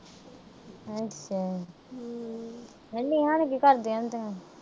ਨੇਹਾ ਨੂੰ ਨੀ ਘਰ ਦੇ ਕਹਿੰਦੇ ਆ।